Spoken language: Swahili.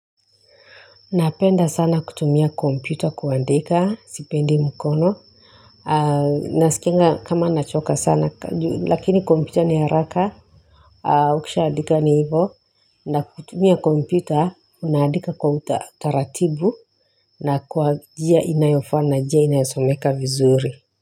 Napenda sana kutumia kompyuta kuandika sipendi mkono aa nasikianga kama nachoka sana lakini kompyuta ni haraka aa ukishaadika ni hivyo na kutumia kompyuta unaandika kwa utataratibu na kwa njia inayofaa na njia inayosomeka vizuri.